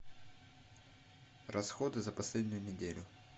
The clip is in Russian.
расходы за последнюю неделю